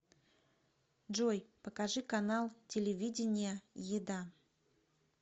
джой покажи канал телевидения еда